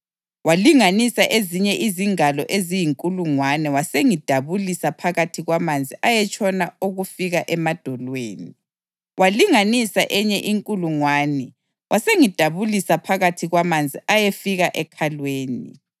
Walinganisa ezinye izingalo eziyinkulungwane wasengidabulisa phakathi kwamanzi ayetshona okufika emadolweni. Walinganisa enye inkulungwane wasengidabulisa phakathi kwamanzi ayefika ekhalweni.